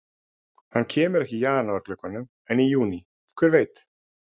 Hann kemur ekki í janúar glugganum en í júní, hver veit?